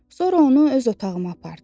Sonra onu öz otağıma apardım.